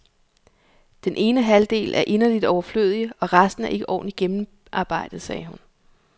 Den ene halvdel er inderligt overflødig, og resten er ikke ordentligt gennemarbejdet, siger hun.